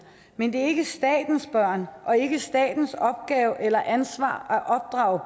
men det er ikke statens børn og ikke statens opgave eller ansvar at opdrage